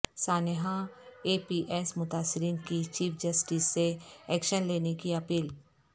سانحہ A P S متاثرین کی چیف جسٹس سے ایکشن لینے کی اپیل